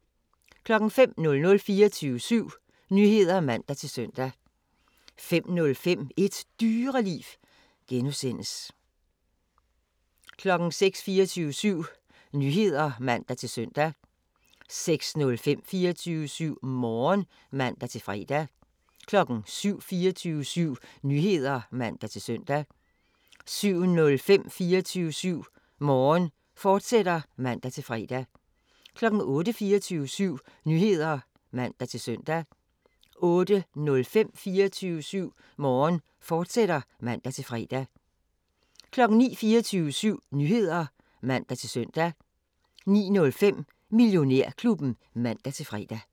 05:00: 24syv Nyheder (man-søn) 05:05: Et Dyreliv (G) 06:00: 24syv Nyheder (man-søn) 06:05: 24syv Morgen (man-fre) 07:00: 24syv Nyheder (man-søn) 07:05: 24syv Morgen, fortsat (man-fre) 08:00: 24syv Nyheder (man-søn) 08:05: 24syv Morgen, fortsat (man-fre) 09:00: 24syv Nyheder (man-søn) 09:05: Millionærklubben (man-fre)